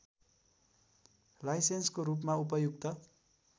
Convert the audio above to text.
लाइसेन्सको रूपमा उपयुक्त